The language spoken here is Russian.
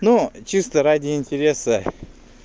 но чисто ради интереса